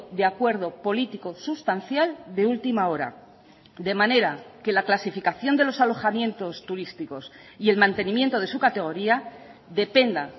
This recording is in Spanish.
de acuerdo político sustancial de última hora de manera que la clasificación de los alojamientos turísticos y el mantenimiento de su categoría dependa